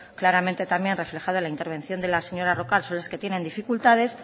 claramente también reflejado en la intervención de la señora roncal son las que tienen dificultades